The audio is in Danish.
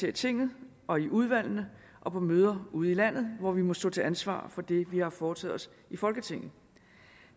i tinget og i udvalgene og på møder ude i landet hvor vi må stå til ansvar for det vi har foretaget os i folketinget